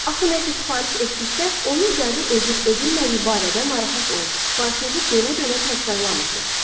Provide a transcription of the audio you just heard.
Axı nəsə sifariş etdikdə onun qəbul edilib-edilmədiyi barədə narahat olub, sifarişinizi dönə-dönə təkrarlamırsınız.